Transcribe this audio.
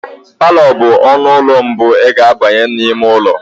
Palọ bụ ọnụ ụlọ mbụ ị ga abanye n'ime ụlọ.